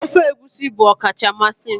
ofe egusi bụ ọkacha mmasị m